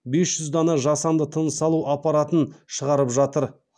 бес жүз дана жасанды тыныс алу апараттын шығарып жатыр